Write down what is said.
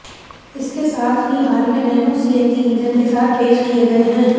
इसके साथ ही हाल में नैनो सीएनजी इंजन के साथ पेश किए गए हैं